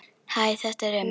Hæ, þetta er Emil.